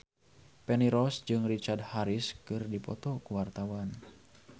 Feni Rose jeung Richard Harris keur dipoto ku wartawan